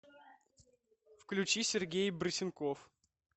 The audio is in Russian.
включи сергей брысенков